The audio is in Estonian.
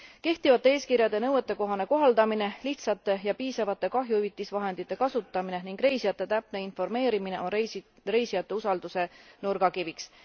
Kehtivate eeskirjade nõuetekohane kohaldamine, lihtsate ja piisavate kahjuhüvitisvahendite kasutamine ning reisijate täpne informeerimine on reisijate usalduse nurgakiviks.